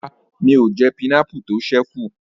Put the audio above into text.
Rárá, mi ò jẹ pineapple tó ṣẹ́ kù